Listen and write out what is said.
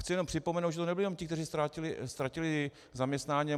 Chci jen připomenout, že to nebyli jenom ti, kteří ztratili zaměstnání.